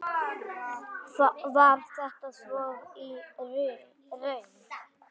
Var þetta svo í raun?